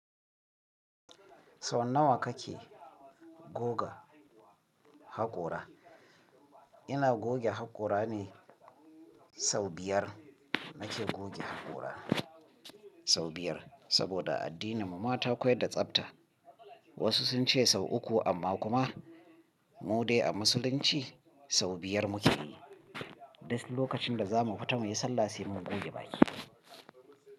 Sau nawa kake goga haƙora? Ina goge haƙora ne sau biyar nake goge haƙora sau biyar. Saboda a addininmu ma ta koyad da tsabta. Wasu sun ce sau uku amma kuma mu dai a musulunci sau biyar muke yi. Duk lokacin da za mu fita muyi sallah sai mun goge baki.